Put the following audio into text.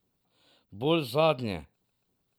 Bolj zadnje.